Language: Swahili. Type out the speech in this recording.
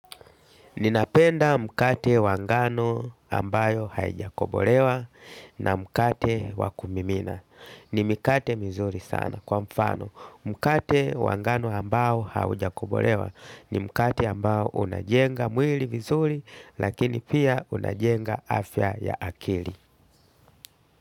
Ninapenda mkate wa ngano ambayo haijakobolewa na mkate wa kumimina. Ni mikate mzuri sana kwa mfano. Mkate wa ngano ambao haujakobolewa ni mkate ambao unajenga mwili vizuri lakini pia unajenga afya ya akili.